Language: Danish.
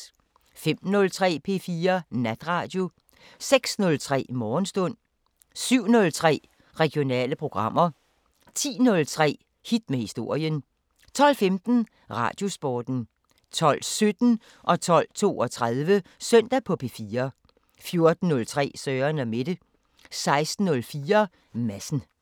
05:03: P4 Natradio 06:03: Morgenstund 07:03: Regionale programmer 10:03: Hit med historien 12:15: Radiosporten 12:17: Søndag på P4 12:32: Søndag på P4 14:03: Søren & Mette 16:04: Madsen